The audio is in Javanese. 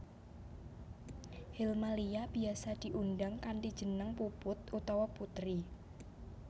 Helmalia biyasa diundang kanthi jeneng Puput utawa Putri